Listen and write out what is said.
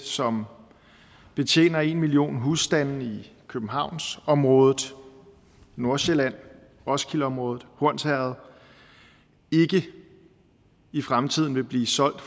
som betjener en million husstande i københavnsområdet nordsjælland roskildeområdet hornsherred ikke i fremtiden vil blive solgt